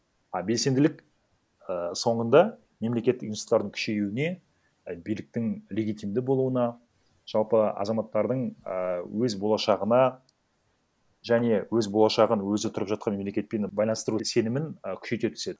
а белсенділік і соңында мемлекеттік институттардың күшейуіне і биліктің легитимді болуына жалпы азаматтардың ііі өз болашағына және өз болашағын өзі тұрып жатқан мемлекетпен байланыстыру сенімін і күшейте түседі